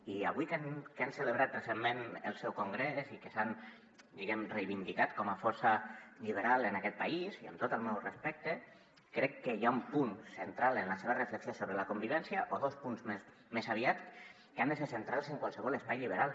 i avui que han celebrat recentment el seu congrés i que s’han diguem·ne reivin·dicat com a força lliberal en aquest país i amb tot el meu respecte crec que hi ha un punt central en la seva reflexió sobre la convivència o dos punts més aviat que han de ser centrals en qualsevol espai lliberal